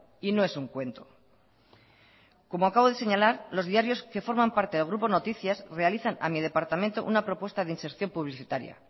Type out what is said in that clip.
y no es un cuento como acabo de señalar los diarios que forman parte del grupo noticias realizan a mi departamento una propuesta de inserción publicitaria